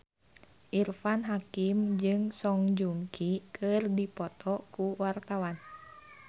Irfan Hakim jeung Song Joong Ki keur dipoto ku wartawan